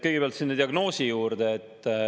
Kõigepealt sellest diagnoosist.